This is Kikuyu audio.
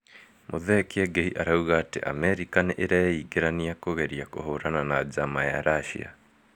Muthee Kiengei arauga atĩ Amerika nĩ ĩreingĩranĩa kũgeria kũhũrana na njama ya Russia